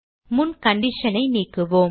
முன் condition ஐ நீக்குவோம்